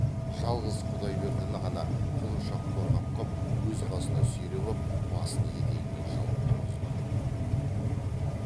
жалғыз құдайбердіні ғана құлыншақ қорғап қап өз қасына сүйреп ап басын етегімен жауып ұрғызбады